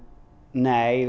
nei